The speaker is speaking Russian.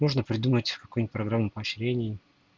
можно придумать какую-нибудь программу поощрений